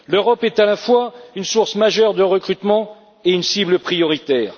L'Europe est à la fois une source majeure de recrutement et une cible prioritaire.